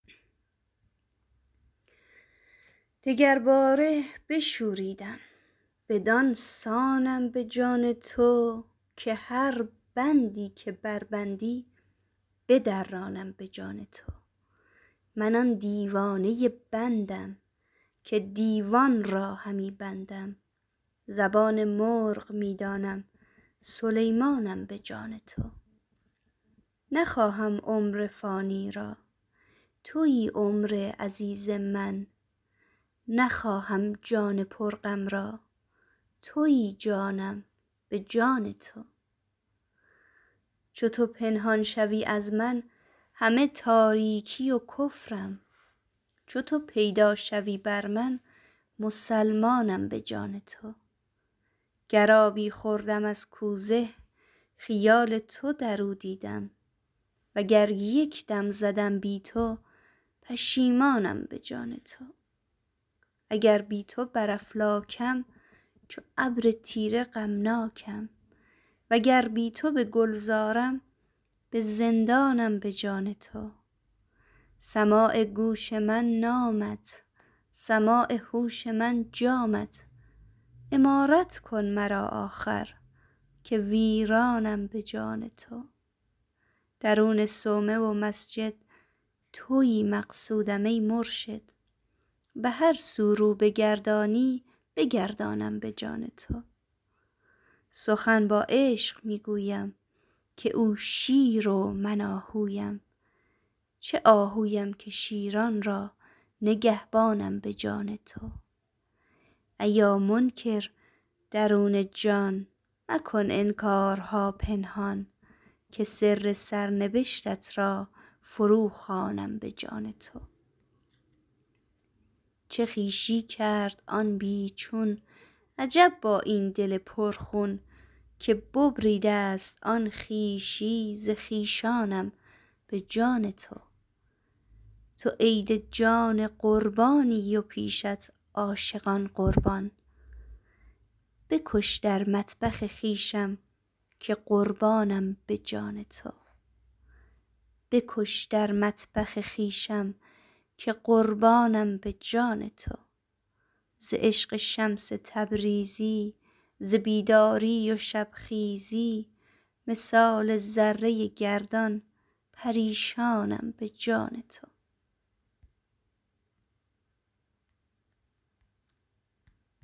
دگرباره بشوریدم بدان سانم به جان تو که هر بندی که بربندی بدرانم به جان تو من آن دیوانه بندم که دیوان را همی بندم زبان مرغ می دانم سلیمانم به جان تو نخواهم عمر فانی را توی عمر عزیز من نخواهم جان پرغم را توی جانم به جان تو چو تو پنهان شوی از من همه تاریکی و کفرم چو تو پیدا شوی بر من مسلمانم به جان تو گر آبی خوردم از کوزه خیال تو در او دیدم وگر یک دم زدم بی تو پشیمانم به جان تو اگر بی تو بر افلاکم چو ابر تیره غمناکم وگر بی تو به گلزارم به زندانم به جان تو سماع گوش من نامت سماع هوش من جامت عمارت کن مرا آخر که ویرانم به جان تو درون صومعه و مسجد توی مقصودم ای مرشد به هر سو رو بگردانی بگردانم به جان تو سخن با عشق می گویم که او شیر و من آهویم چه آهویم که شیران را نگهبانم به جان تو ایا منکر درون جان مکن انکارها پنهان که سر سرنبشتت را فروخوانم به جان تو چه خویشی کرد آن بی چون عجب با این دل پرخون که ببریده ست آن خویشی ز خویشانم به جان تو تو عید جان قربانی و پیشت عاشقان قربان بکش در مطبخ خویشم که قربانم به جان تو ز عشق شمس تبریزی ز بیداری و شبخیزی مثال ذره گردان پریشانم به جان تو